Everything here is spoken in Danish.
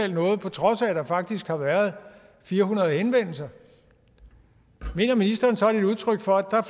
noget på trods af at der faktisk har været fire hundrede henvendelser mener ministeren så det er et udtryk for at der